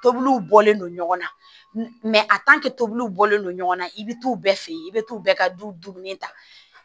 Tobiliw bɔlen don ɲɔgɔn na tobiliw bɔlen don ɲɔgɔn na i bi t'u bɛɛ fe yen i be t'u bɛɛ ka du dumuni ta